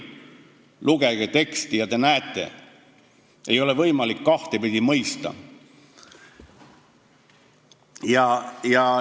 Lugege teksti ja te näete, et seda ei ole võimalik kahtepidi mõista.